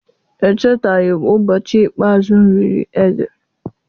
Echetaghi m ụbọchị ikpe azụ mụ riri ede